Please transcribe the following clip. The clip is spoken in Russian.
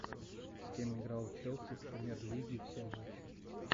с кем играл челси в премьер лиге все матчи